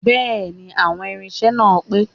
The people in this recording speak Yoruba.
Bẹ́ẹ̀ni, àwọn irinṣẹ́ náà pé